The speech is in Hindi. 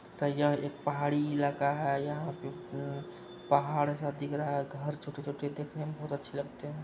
यह एक पहाड़ी इलाका है। यहाँ पे अ पहाड़-सा दिख रहा है घर छोटे-छोटे दिख रहे हैं बहुत अच्छे लगते हैं।